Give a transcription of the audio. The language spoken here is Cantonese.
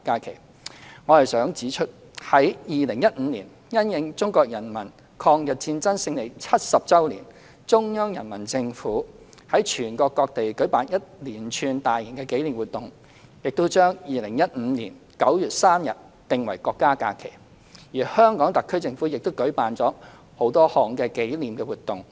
然而，我想指出，在2015年因應中國人民抗日戰爭勝利70周年，中央人民政府於全國各地舉辦一連串大型紀念活動，並將2015年9月3日訂為國家假期，而香港特區政府亦舉辦了多項紀念活動。